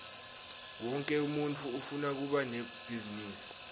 wonkhe umuntfu ufuna kuba nebhizinisi